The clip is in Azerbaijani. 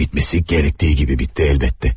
Əlbəttə ki, bitməli olduğu kimi bitdi.